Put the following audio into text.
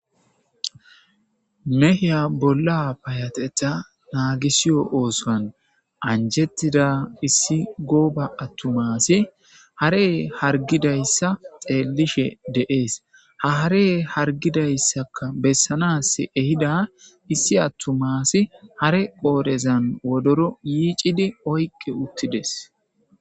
mehiya bolla payateta naagisiyo oosan anjettida issi gooba attumasi hare hargidayssa xeelishe deees ha hare hargidayssaka bessanas ehida issi attumasi hare qoorezan wodoro yiicidi oyqe uttides